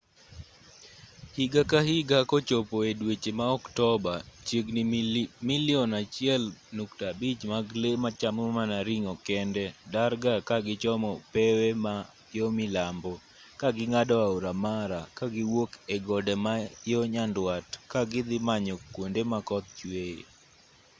higa ka higa kochopo e dweche ma oktoba chiegni milion 1.5 mag lee machamo mana ring'o kende darga ka gichomo pewe ma yo milambo ka ging'ado aora mara kagiwuok e gode ma yo nyandwat ka gidhi manyo kwonde ma koth chweye